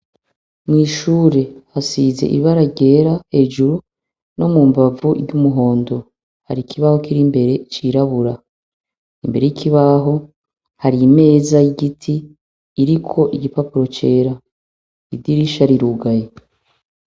Mw'ishure hasize ibara ryera hejuru no mu mbavu iry'umuhondo. Hari ikibaho kir'imbere cirabura. Imbere y'ikibaho, har' imeza y'igiti iriko igipapuro cera. Idirisha rirugaye.